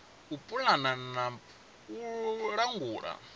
u pulana na u langula